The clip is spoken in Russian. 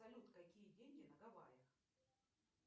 салют какие деньги на гаваях